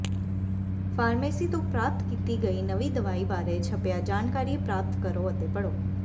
pharmacy ਤੋਂ ਪ੍ਰਾਪਤ ਕੀਤੀ ਗਈ ਨਵੀਂ ਦਵਾਈ ਬਾਰੇ ਛਪਿਆ ਜਾਣਕਾਰੀ ਪ੍ਰਾਪਤ ਕਰੋ ਅਤੇ ਪੜ੍ਹੋ